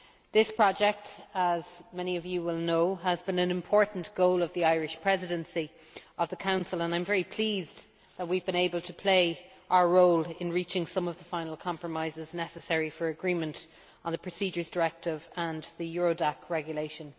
This project, as many of you will know, has been an important goal of the Irish Presidency of the Council, and I am very pleased that we have been able to play our role in reaching some of the final compromises necessary for agreement on the Procedures Directive and the Eurodac Regulation.